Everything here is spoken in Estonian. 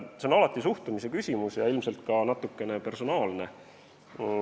See on alati suhtumise küsimus ja ilmselt ka natukene personaalne.